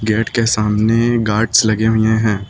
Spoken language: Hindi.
गेट के सामने गार्ड्स लगे हुए हैं।